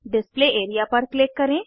display area पर click करें